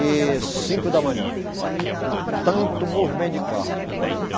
E cinco da manhã, com tanto movimento de carro.